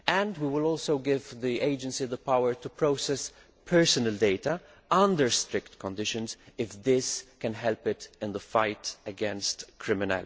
We will also give the Agency the power to process personal data under strict conditions if this can help it in the fight against crime.